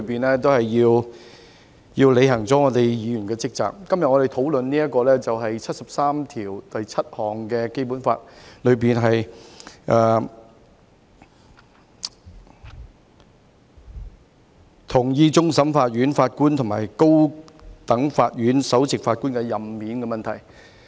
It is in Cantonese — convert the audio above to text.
在議會內，要履行議員的職責，我們今天討論的，是根據《基本法》第七十三條第七項，同意終審法院法官和高等法院首席法官的任免問題。